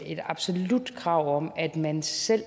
et absolut krav om at man selv